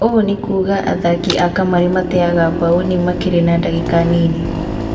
ũũ nĩ kuga athaki a kamarĩ mateaga mbaũni makiri na ndagĩka nini.